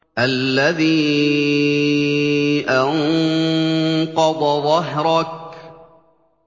الَّذِي أَنقَضَ ظَهْرَكَ